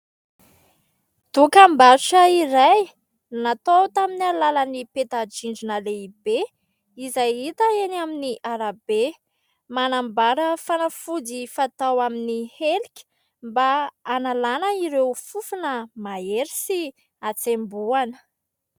Dokam-barotra iray natao tamin'ny alalany peta-drindrina lehibe izay hita eny amin'ny arabe, manambara fanafody fatao amin'ny helika mba hanalana ireo fofona mahery sy hatsembohana.